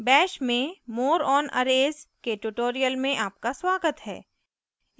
bash में more on arrays के tutorial में आपका स्वागत है